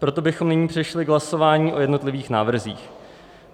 Proto bychom nyní přešli k hlasování o jednotlivých návrzích.